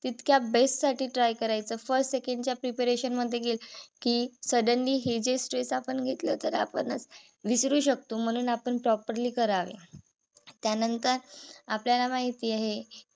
तितक्या best साठी try करायचं first second च्या preparation मध्ये गेलं कि suddenly हे जे stress आपण घेतलं तर आपणच विसरू शकतो. म्हणून आपण properly करावे. त्यानंतर आपल्याला माहित आहे हे